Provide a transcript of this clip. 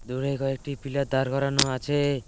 দূরে কয়েকটি পিলার দাঁড় করানো আছে।